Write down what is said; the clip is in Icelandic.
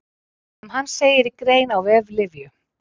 Um hann segir í grein á vef Lyfju.